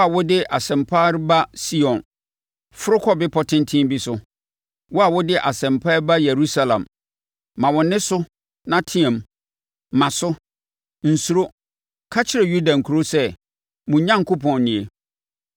Wo a wode asɛm pa reba Sion, foro kɔ bepɔ tenten bi so. Wo a wode asɛm pa reba Yerusalem, ma wo nne so na team, ma so, nsuro; ka kyerɛ Yuda nkuro sɛ, “Mo Onyankopɔn nie!”